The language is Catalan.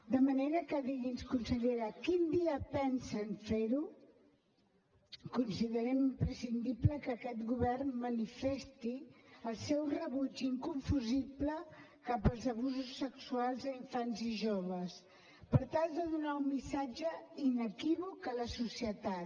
de manera que digui’ns consellera quin dia pensen fer ho considerem imprescindible que aquest govern manifesti el seu rebuig inconfusible cap als abusos sexuals a infants i joves per tal de donar un missatge inequívoc a la societat